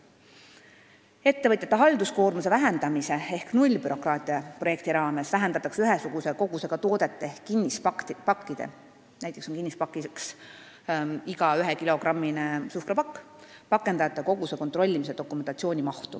Ettevõtjate halduskoormuse vähendamise ehk nullbürokraatia projekti raames vähendatakse ühesuguse kogusega toodete ehk kinnispakkide – näiteks on kinnispakk iga ühekilogrammine suhkrupakk – pakendajate koguse kontrollimise dokumentatsiooni mahtu.